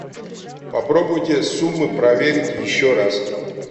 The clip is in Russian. попробуйте суммы проверить еще раз